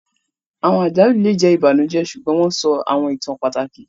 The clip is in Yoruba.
Awọn àjálù le jẹ ibanujẹ, ṣugbọn wọn sọ awọn ìtàn pàtàkì